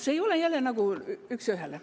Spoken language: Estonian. See ei ole jälle üks ühele.